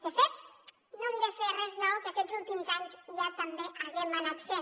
de fet no hem de fer res nou que aquests últims anys ja també haguem anat fent